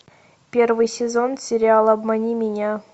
первый сезон сериал обмани меня